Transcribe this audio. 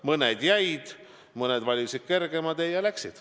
Mõned jäid erakonda, mõned valisid kergema tee ja läksid.